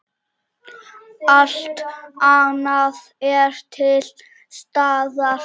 Allt annað er til staðar.